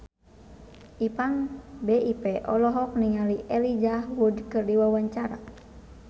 Ipank BIP olohok ningali Elijah Wood keur diwawancara